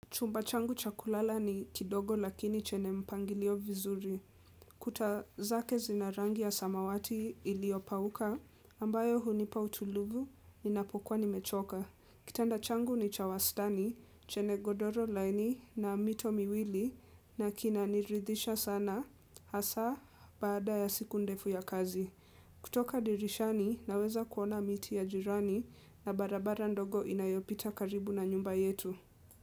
Chumba changu cha kulala ni kidogo lakini chenye mpangilio vizuri. Kuta zake zinarangi ya samawati iliopauka, ambayo hunipa utulivu, ninapokuwa nimechoka. Kitanda changu ni cha wastani, chenye ngodoro laini na mito miwili, nakina niridhisha sana, hasa, baada ya siku ndefu ya kazi. Kutoka dirishani, naweza kuona miti ya jirani, na barabara ndogo inayopita karibu na nyumba yetu.